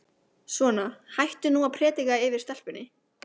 Svona, hættu nú að predika yfir stelpunni.